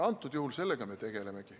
Antud juhul me sellega tegelemegi.